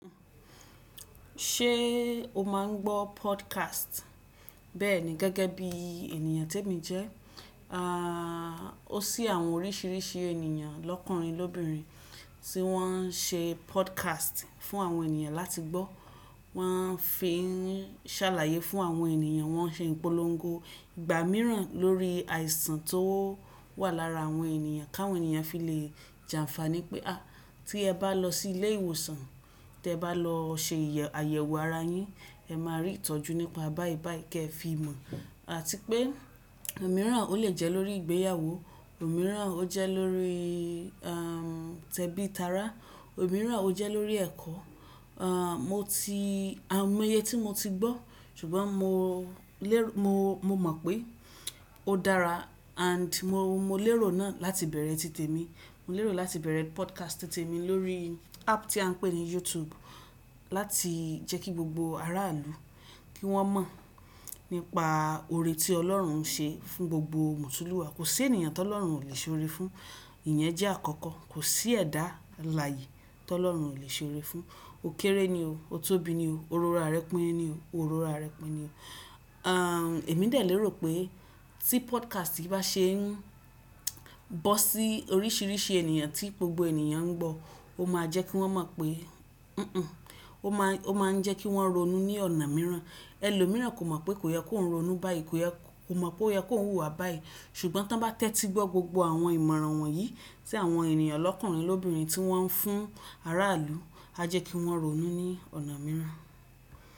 Ṣé o máa ń gbọ́ podcast? Bẹ́ẹ̀ni gẹ́gẹ́ bí ènìyàn témi jẹ́. A, ó sí àwọn oríṣiríṣi ènìyàn lọ́kùnrin lọ́bìnrin tí wọ́n ń ṣe podcast fún àwọn ènìyàn láti gbọ́. Wọ́n fi ń ṣàlàyé fún àwọn ènìyàn, wọ́n ń ṣe ìpolongo ìgbà mìíràn lórí àìsàn tó wà lára àwọn ènìyàn, káwọn ènìyàn fi lè jàǹfàní pé, ah! Tí ẹ bá lọ sí ilé ìwòsàn, tí ẹ bá lọ ṣe àyẹ̀wò ara yín, ẹ máa rí ìtọ́jú nípa báyìí báyìí kí ẹ fi mọ̀. Àti pé òmíràn ó lè jẹ́ lórí ìgbéyàwó, òmíràn ó jẹ́ lórí, a, tẹ́bítára, òmíràn ó jẹ́ lórí ẹ̀kọ́. A, mo ti, àwọn mo iye tí mo ti gbọ́, ṣùgbọ́n mo lérò, mo, mo mọ̀ pé ó dára and mo, mo lérò náà láti bẹ̀rẹ̀ ti tèmi. Mo lérò láti bẹ̀rẹ̀ podcast ti tèmi lórí app tí à ń pè ní YouTube láti jẹ́ kí gbogbo aráàlú kí wọ́n mọ̀ nípa oore tí Ọlọ́run ń ṣe fún gbogbo Mutuluwa. Kò sí ènìyàn tó Ọlọ́run ò lè ṣe ore fún, ìyẹn jẹ́ àkọ́kọ́. Kò sí ẹ̀dá alààyè tó Ọlọ́run ò lè ṣe ore fún. Ó kéré ni o, o tóbi ni o, òró ra rẹ pín ni o, òró ra rẹ pín ni o. A, èmi dè lérò pé tí podcast yi bá ṣe ń bọ́ sí oríṣiríṣi ènìyàn tí gbogbo ènìyàn ń gbọ́, ó máa jẹ́ kí wọ́n mọ̀ pé, hunhun, ó máa, ó máa ń jẹ́ kí wọ́n ronú ní ọ̀nà mìíràn. Ẹ̀lòmíràn kò mọ̀ pé kò yẹ kó oun ronú báyìí, kò yẹ, kò mọ̀ pé ó yẹ kó oun wùwà báyìí. Ṣùgbọ́n to bá tẹ́tí gbọ́ gbogbo àwọn ìmọ̀ràn wọ̀nyí tí àwọn ènìyàn lọ́kùnrin lọ́bìnrin tí wọ́n ń fún aráàlú, a jẹ́ kí wọ́n ronú ní ọ̀nà mìíràn.